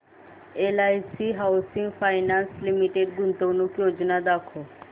LIC housing finance limited गुंतवणूक योजना दाखव